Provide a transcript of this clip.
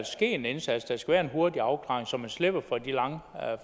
ske en indsats der skal være en hurtig afklaring så man slipper for de lange